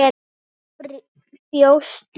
Við hverju bjóstu líka?